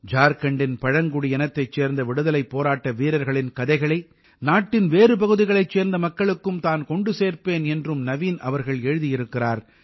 ஜார்க்கண்டின் பழங்குடியினத்தைச் சேர்ந்த விடுதலைப் போராட்ட வீரர்களின் கதைகளை நாட்டின் வேறு பகுதிகளைச் சேர்ந்த மக்களுக்கும் தான் கொண்டு சேர்ப்பேன் என்றும் நவீன் அவர்கள் எழுதியிருக்கிறார்